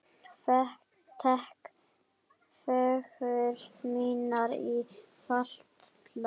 Tek föggur mínar í fatla.